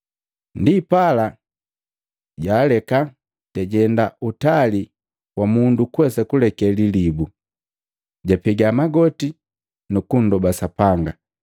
Ndipala jaaleka, jajenda utali wa mundu kuwesa kuleke lilibu. Japega magoti nu kundoba Sapanga.